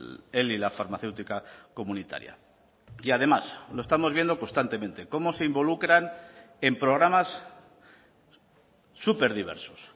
él y la farmacéutica comunitaria y además lo estamos viendo constantemente cómo se involucran en programas súper diversos